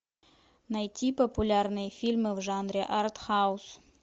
найти популярные фильмы в жанре артхаус